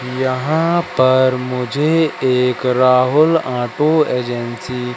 यहां पर मुझे एक राहुल ऑटो एजेंसी --